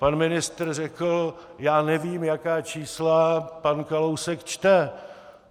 Pan ministr řekl: "Já nevím, jaká čísla pan Kalousek čte."